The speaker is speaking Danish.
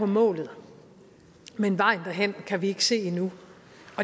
målet men vejen derhen kan vi ikke se endnu